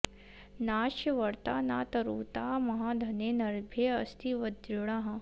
नास्य॑ व॒र्ता न त॑रु॒ता म॑हाध॒ने नार्भे॑ अस्ति व॒ज्रिणः॑